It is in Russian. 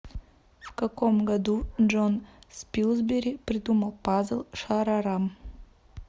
в каком году джон спилсбери придумал пазл шарарам